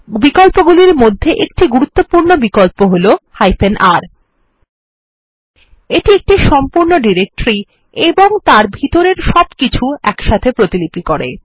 বিকল্প গুলির মধ্যে একটি গুরুত্বপূর্ণ বিকল্প হল R এটি একটি সম্পূর্ণ ডিরেক্টরি ও তার ভিতরের সবকিছু একসাথে প্রতিলিপি করে